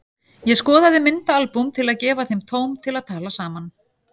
Ég skoðaði myndaalbúm til að gefa þeim tóm til að tala saman.